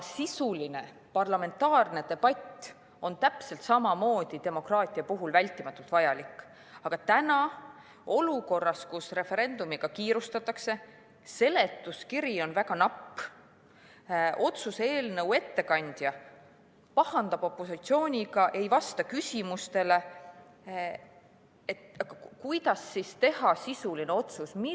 Sisuline parlamentaarne debatt on täpselt samamoodi demokraatia puhul vältimatult vajalik, aga täna, olukorras, kus referendumiga kiirustatakse, seletuskiri on väga napp, otsuse eelnõu ettekandja pahandab opositsiooniga, ei vasta küsimustele – kuidas teha sisuline otsus?